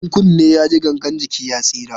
In kunni ya ji, gangan jiki ya tsira.